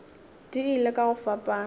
di ile ka go fapana